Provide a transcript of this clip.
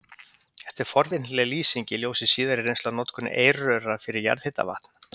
Þetta er forvitnileg lýsing í ljósi síðari reynslu af notkun eirröra fyrir jarðhitavatn.